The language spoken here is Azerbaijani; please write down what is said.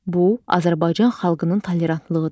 Bu, Azərbaycan xalqının tolerantlığıdır.